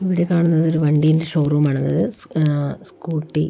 ഇവിടെ കാണുന്നത് ഒരു വണ്ടിന്റെ ഷോറൂം ആണത് ആ സ്കൂട്ടി --